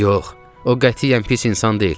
Yox, o qətiyyən pis insan deyil.